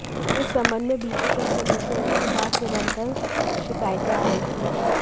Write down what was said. इस संबंध में बीते कुछ दिनों से उनके पास निरंतर शिकायतें आ रही थी